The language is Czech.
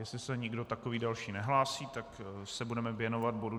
Jestli se nikdo takový další nehlásí, tak se budeme věnovat bodu